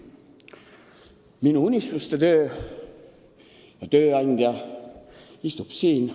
Minu unistuste töö ja tööandja istub siin.